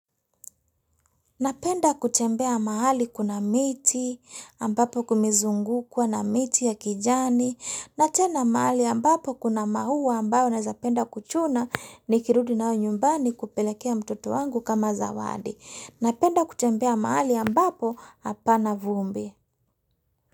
Napenda kutembea mahali kuna miti, ambapo kumezungukwana miti ya kijani, na tena mahali ambapo kuna maua ambayo naeza penda kuchuna nikirudi nayo nyumbani kupelekea mtoto wangu kama zawadi. Napenda kutembea mahali ambapo apana vumbi.